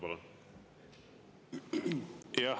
Palun!